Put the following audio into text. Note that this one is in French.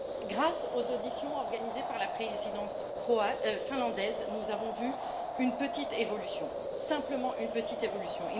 Grâce aux auditions organisées par la présidence finlandaise, nous avons vu une petite évolution, simplement une petite évolution.